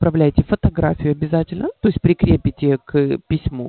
направляете фотографию обязательно то есть прикрепите к письму